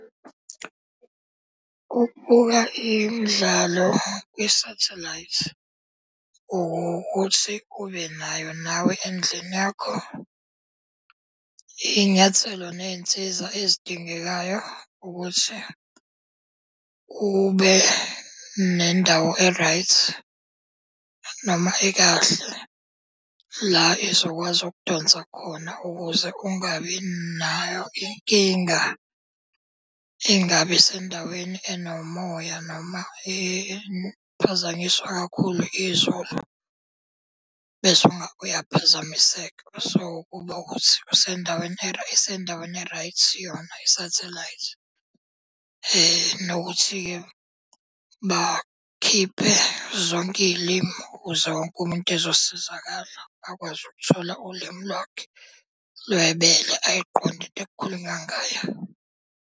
Ukubuka imidlalo kwisathelayithi ukuthi ube nayo nawe endlini yakho. Iy'nyathelo ney'nsiza ezidingekayo ukuthi kube nendawo e-right, noma ekahle la ezokwazi ukudonsa khona ukuze ungabi nayo inkinga. Ingabi sendaweni enomoya noma ephazanyiswa kakhulu izulu bese uyaphazamiseka. So, kuba ukuthi usendaweni isendaweni e-right yona isathelayithi. nokuthi-ke bakhiphe zonke iy'limu ukuze wonke umuntu ezosizakala, akwazi ukuthola ulimi lwakhe lwebele ayiqonde into ekukhulunywa ngayo.